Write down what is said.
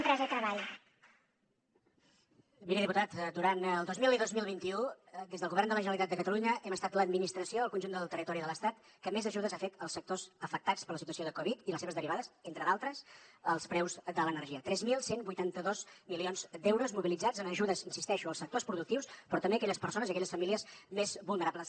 miri diputat durant el dos mil vint i dos mil vint u des del govern de la generalitat de catalunya hem estat l’administració al conjunt del territori de l’estat que més ajudes ha fet als sectors afectats per la situació de covid i les seves derivades entre d’altres als preus de l’energia tres mil cent i vuitanta dos milions d’euros mobilitzats en ajudes hi insisteixo als sectors productius però també a aquelles persones i aquelles famílies més vulnerables